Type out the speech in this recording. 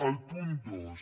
el punt dos